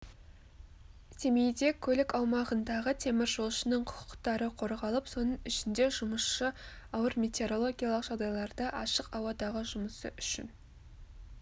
семейде көлік аумағындағы теміржолшының құқықтары қорғалып соның ішінде жұмысшы ауыр метеорологиялық жағдайларда ашық ауадағы жұмысы үшін